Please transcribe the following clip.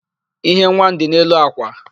íhé nwa m dị n'elu àkwà.